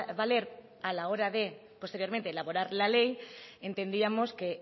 valer a la hora de posteriormente elaborar la ley entendíamos que